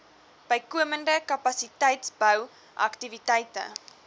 bykomende kapasiteitsbou aktiwiteite